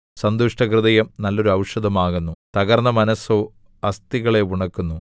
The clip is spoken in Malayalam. സന്തുഷ്ടഹൃദയം നല്ലൊരു ഔഷധമാകുന്നു തകർന്ന മനസ്സോ അസ്ഥികളെ ഉണക്കുന്നു